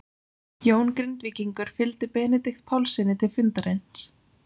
Jón Grindvíkingur fylgdi Benedikt Pálssyni til fundarins.